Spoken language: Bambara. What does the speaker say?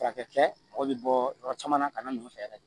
Furakɛ kɛ mɔgɔ bi bɔ yɔrɔ caman na ka na n'u fɛ yɛrɛ de